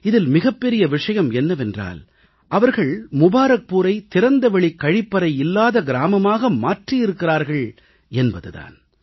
இதில் மிகப்பெரிய விஷயம் என்னவென்றால் அவர்கள் முபாரக்பூரை திறந்தவெளிக் கழிப்பறை இல்லாத கிரமமாக மாற்றியிருக்கிறார்கள் என்பது தான்